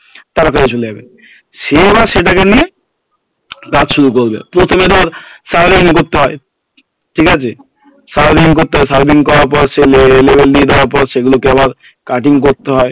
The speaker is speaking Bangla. তাদের কাছে চলে যাবে সে এবার সেটা কে নিয়ে কাজ শুরু করবে প্রথমে ধর serving করতে হয় ঠিকাছে serving করতে হয় serving করার পর সেগুলো কে আবার cutting করতে হয়